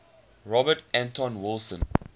robert anton wilson